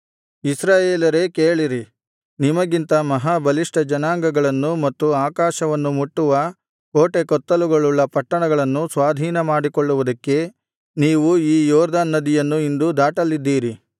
ಇಸ್ರಾಯೇಲರೇ ಕೇಳಿರಿ ನಿಮಗಿಂತ ಮಹಾ ಬಲಿಷ್ಠ ಜನಾಂಗಗಳನ್ನೂ ಮತ್ತು ಆಕಾಶವನ್ನು ಮುಟ್ಟುವ ಕೋಟೆಕೊತ್ತಲುಗಳುಳ್ಳ ಪಟ್ಟಣಗಳನ್ನೂ ಸ್ವಾಧೀನ ಮಾಡಿಕೊಳ್ಳುವುದಕ್ಕೆ ನೀವು ಈ ಯೊರ್ದನ್ ನದಿಯನ್ನು ಇಂದು ದಾಟಲಿದ್ದೀರಿ